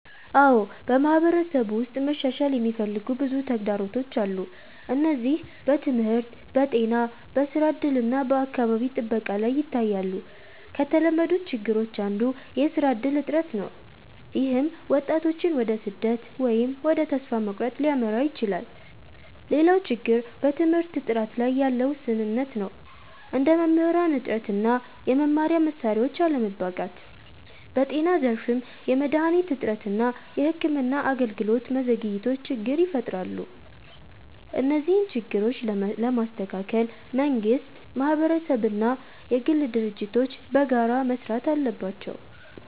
አዎ፣ በማህበረሰብ ውስጥ መሻሻል የሚፈልጉ ብዙ ተግዳሮቶች አሉ። እነዚህ በትምህርት፣ በጤና፣ በስራ እድል እና በአካባቢ ጥበቃ ላይ ይታያሉ። ከተለመዱት ችግሮች አንዱ የስራ እድል እጥረት ነው፣ ይህም ወጣቶችን ወደ ስደት ወይም ወደ ተስፋ መቁረጥ ሊያመራ ይችላል። ሌላው ችግር በትምህርት ጥራት ላይ ያለ ውስንነት ነው፣ እንደ መምህራን እጥረት እና የመማሪያ መሳሪያዎች አለመበቃት። በጤና ዘርፍም የመድሃኒት እጥረት እና የሕክምና አገልግሎት ዘግይቶች ችግር ይፈጥራሉ። እነዚህን ችግሮች ለመስተካከል መንግስት፣ ማህበረሰብ እና የግል ድርጅቶች በጋራ መስራት አለባቸው።